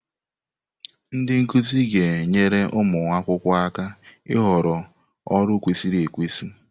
Ndị nkuzi ga-enyere ụmụ akwụkwọ aka ịhọrọ ọrụ kwesịrị ekwesị.